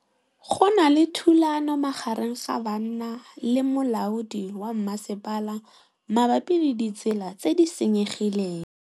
Go na le thulanô magareng ga banna le molaodi wa masepala mabapi le ditsela tse di senyegileng.